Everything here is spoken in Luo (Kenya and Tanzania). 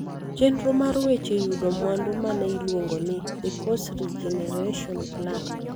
Chenro mar weche yudo mwandu ma ne iluongo ni, The Coast Regeneration Plan,